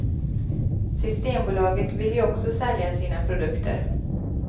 Systembolaget vill ju också sälja sina produkter.